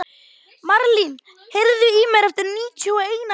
Marlín, heyrðu í mér eftir níutíu og eina mínútur.